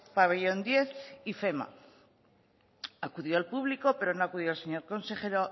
pabellón diez ifema acudió el público pero no acudió el señor consejero